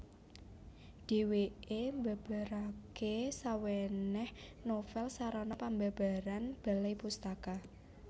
Dhèwèké mbabaraké sawènèh novèl sarana pambabaran Balai Pustaka